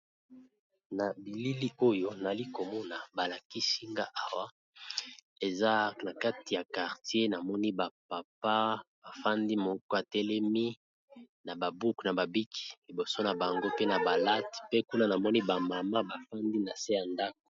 na bilili oyo nali komona balakisi nga owa eza na kati ya kartier na moni bapapa bafandi moko atelemi na babuku na babiki liboso na bango pe na balate pe kuna na moni bamama bafandi na se ya ndako